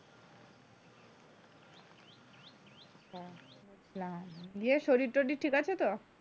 ইয়ে শরীর টোরীর ঠিক আছে তো?